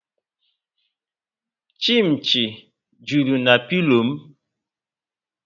Chinchi juru na pilo m